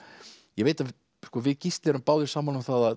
ég veit að við Gísli erum báðir sammála um það að